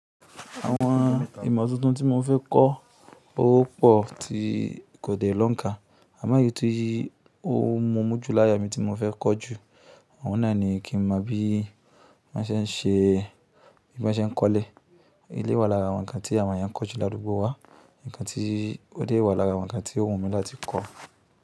Àwọn ìmọ̀ tuntun tí mo fẹ́ kọ́ ó pọ̀ tí kò dé lọ́ǹkà. Àmọ́ èyìí ti ó múmu jú láya mi tí mo fẹ́ kọ́ jù. Àwọn náà ni kí n mọ̀ bí wọ́n ṣe ń ṣe, bí wọ́n ṣe ń kọ́lẹ̀. Ilé wa jẹ́ ara àwọn ǹkan tí àwọn èèyàn kọ́ jù ládugbo wá, ǹkan tí ó dé wà lára àwọn ǹkan tí ó wù mí láti kọ́